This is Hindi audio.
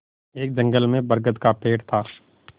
एक जंगल में बरगद का पेड़ था